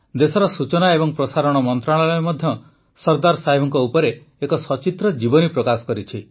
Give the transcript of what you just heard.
ଦେଶର ସୂଚନା ଏବଂ ପ୍ରସାରଣ ମନ୍ତ୍ରଣାଳୟ ମଧ୍ୟ ସର୍ଦ୍ଦାର ସାହେବଙ୍କ ଉପରେ ଏକ ସଚିତ୍ର ଜୀବନୀ ପ୍ରକାଶ କରିଛି